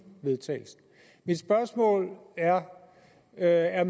vedtagelsen mit spørgsmål er er er